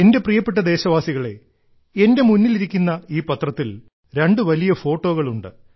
എന്റെ പ്രിയപ്പെട്ട ദേശവാസികളേ എന്റെ മുന്നിലിരിക്കുന്ന ഈ പത്രത്തിൽ രണ്ട് വലിയ ഫോട്ടോകൾ ഉണ്ട്